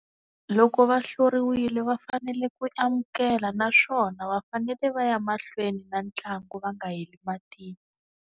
Loko va hluriwile va fanele ku amukela naswona va fanele va ya mahlweni na ntlangu va nga heli .